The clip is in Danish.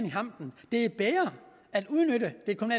i hampen det er bedre at udnytte